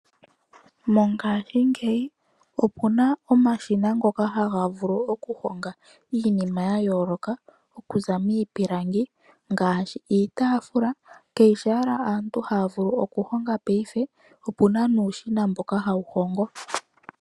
Mongaashingeyi opuna omashina ngoka haga vulu okuhonga iinima ya yooloka okuza miipilangi, ngaashi iitaafula. Aantu hayo ayeke haya vulu okuhonga paife, okuna nuushina mboka hawu hongo.